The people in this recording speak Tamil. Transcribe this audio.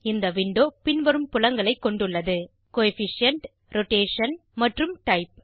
இந்த விண்டோ பின்வரும் புலங்களை கொண்டுள்ளது கோஎஃபிஷியன்ட் ரோடேஷன் மற்றும் டைப்